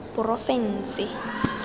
porofense